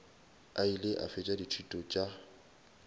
ile a fetša dithuto tša